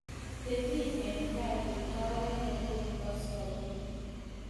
Tepi eng' kaa ngot aweke koi koskoling'.